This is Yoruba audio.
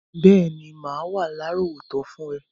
Béèní, má wa lárọ̀wọ́tó fun rẹ